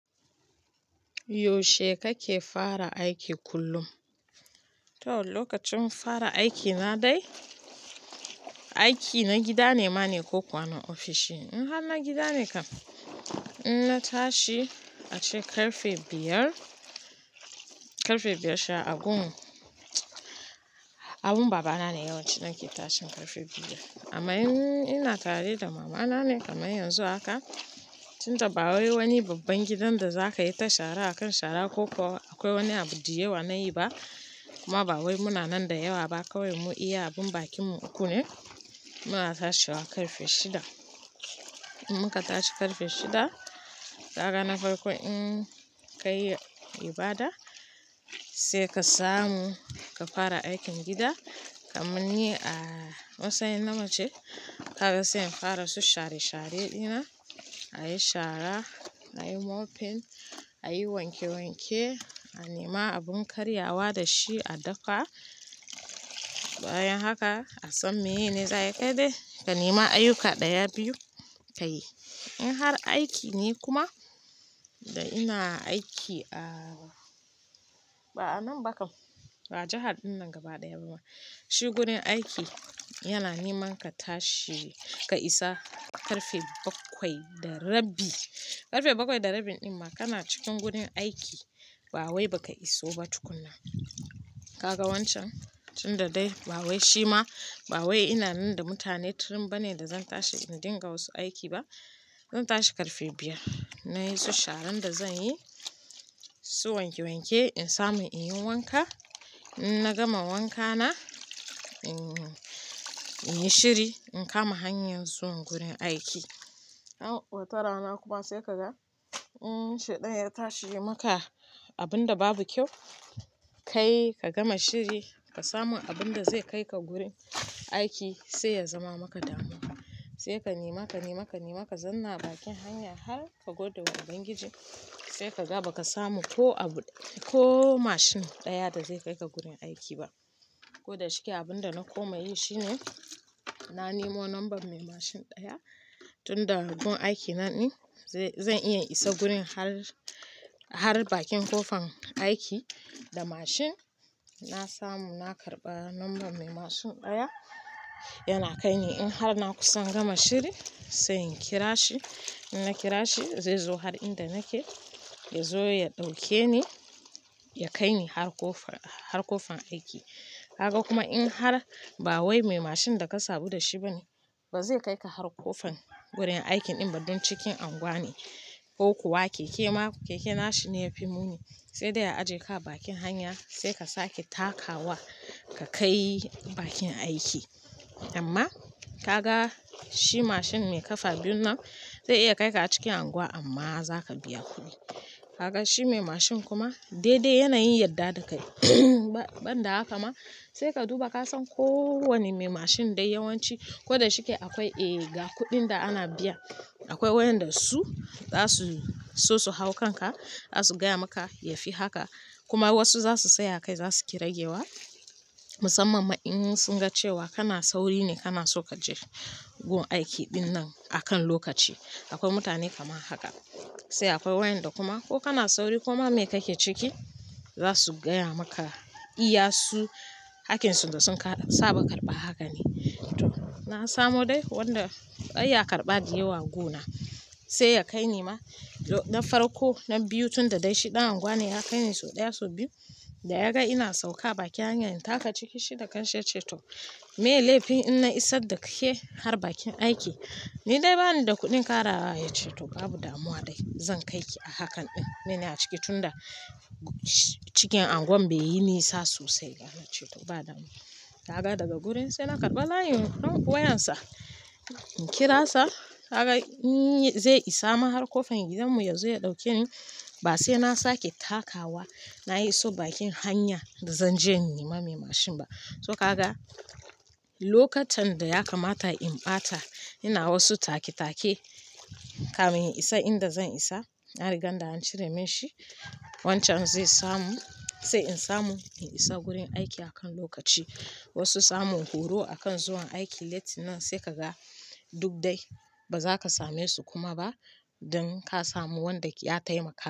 Yaushe kake fara aiki kullum? To lokacin fara aiki na dai, aiki na gida ne mana ko kuwa na ofishi. In har na gida ne kam, in na tashi ace ƙarfe biyar, ƙarfe biyar sha abun. Abun babana ne yawanci nake tashin ƙarfe biyar. Amma in ina tare da mama na ne kamar yanzu ahaka, tunda ba wai wani babban gidan da za ka yi ta shara akan shara, ko kuwa akwai wani abu da yawa na yi ba, kuma ba wai muna nan da yawa ba kawai mu iya, abun bakin mu uku ne. Muna tashiwa ƙarfe shida. In muka tashi ƙarfe shida, haka na farko in ka yi ibada, sai ka samu ka fara aikin gida. Kamanni a matsayin namace, ka ga sai fara su share share ɗina, a yi shara, a yi mopping, a yi wanke wanke, a nema abun karyawa da shi a dafa. Bayan haka a san mai ne za a yi kai dai, ka nema ayyuka ɗaya biyu ka yi. In har aiki ne kuma da ina aiki a, ba a nan ba kam, ba jihar dinnan gaba ɗaya ba ma. Shi gurin aiki yana neman ka tashi ka isa ƙarfe bakwai da rabi. Ƙarfe bakwai da rabi ɗin ma kana cikin gurin aiki. Ba wai ba ka iso ba tukuna. Kaga wancan, tunda dai ba wai shi ma ba wai ina nan da mutane turin bane da zan tashi in dinga wasu aiki ba. Zan tashi ƙarfe biyar, na yi su sharan da zan yi, su wanke wanke in samu in yi wanka. In na gama wanka na, in in yi shiri in kama hanyar zuwan gurin aiki. Wata rana kuma sai ka ga in shedan ya tashi yimaka abun da babu kyau, kai ka gama shiri ka samu abun da zai kai ka gurin aiki sai ya zama maka damuwa. Sai ka nema, ka nema, ka nema ka zanna bakin hanya har ka godewa ubangiji sai ka ga ba ka samu ko abu, ko mashin ɗaya da zai kai ka gurin aiki ba. Ko da shike abun da na koma yi shine, na nemo number mai mashin ɗaya, tunda gun aiki na ne zai, zan iya isa gurin har, har bakin ƙofan aiki da mashin. Na samu, na karɓa number mai mashin ɗaya, yana kai ni in har na kusan gama shiri sai in kira shi. In na kira shi zai zo har inda nake, ya zo ya ɗauke ni, ya kai ni har ƙofan, har ƙofan aiki. Haka kuma in har ba wai mai mashin da ka sabu da shi bane, ba zai kai ka har ƙofan gurin aikin ɗin ba don cikin unguwa ne ko kuwa keke ma, keke na shi ne yafi muni. Sai dai a aje ka bakin hanya sai ka sake takawa ka kai bakin aiki. Amma ka ga shi mashin mai kafa biyun nan zai iya kai ka a cikin unguwa amma za ka biya kuɗi. Kaga shi mai mashin kuma dai dai yana yin yarda da kai. Ban da haka ma sai ka duba ka san ko wane mai mashin dai yawanci ko da shike akwai, eh ga kuɗin da ana biya. Akwai wayanda su za su so su hau kanka, za su gaya maka ya fi haka. Kuma wasu za su tsaya kai za su kira gewa. Musamman ma in sun ga cewa kana sauri ne, kana so ka je gun aiki ɗin nan akan lokaci. Akwai mutane kamar haka. Sai akwai wayanda kuma ko kana sauri ko ma me kake ciki, za su gaya maka iya su, hakkin su da sun saba karɓa haka ne. To na samu dai wanda iya karɓa diyya wa guna, sai ya kai ni ma don farko nan biyu tunda dai shi ɗan unguwa ne ya kai ni sau ɗaya sau biyu. Da ya ga ina sauka bakin hanya in taka ciki shi daga can sai ya ce to "Me laifin in na isa da ke har bakin aiki?" Ni dai bani da kuɗin kara ya ce to "Babu damuwa dai zan kai ki a hakan ɗin." Mine a ciki tunda cikin unguwan bai yi nisa sosai. Ya ce to "ba damuwa." Ka ga daga gurin sai na karɓa nayi wayan sa, in kira sa kaga in zai isa min har ƙofan gidan mu yazo ya ɗauke ni. Ba sai na sake takawa, na yi so bakin hanya da zan je ni nima mai mashin ba. To ka ga lokatan da ya kamata in ɓata ina wasu take take, kamin in isa inda zan isa. Na riga da an cire min shi. Wancan zai samu sai in samu in isa gurin aiki akan lokaci. Wasu samun horo akan zuwan aiki late nan sai ka ga duk dai ba za ka same su kuma ba don ka samu wanda ya taimaka.